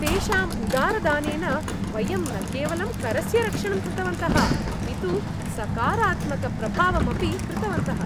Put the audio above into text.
तेषां उदारदानेन, वयं न केवलं करस्य रक्षणं कृतवन्तः अपितु सकारात्मकप्रभावं अपि कृतवन्तः!